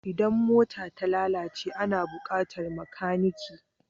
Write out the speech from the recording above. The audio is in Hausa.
Idan mota ta lalace ana buƙatar makanike.